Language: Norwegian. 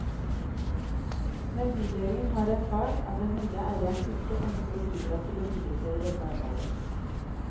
Men bydelen har erfart at den nye eieren ikke ønsker å bidra til å videreføre dette arbeidet.